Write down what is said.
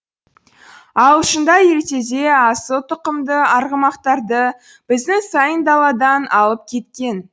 ағылшындар ертеде асыл түқымды арғымақтарды біздің сайын даладан алып кеткен